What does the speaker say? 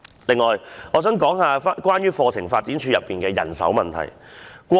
此外，我想討論有關課程發展處的人手問題。